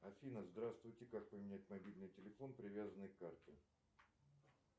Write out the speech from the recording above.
афина здравствуйте как поменять мобильный телефон привязанный к карте